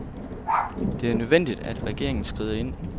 Det er nødvendigt, at regeringen skrider ind.